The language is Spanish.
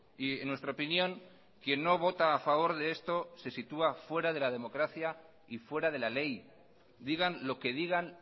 y en nuestra opinión quien no vota a favor de esto se sitúa fuera de la democracia y fuera de la ley digan lo que digan